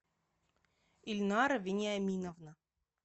ильнара вениаминовна